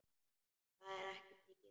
Það er mikið.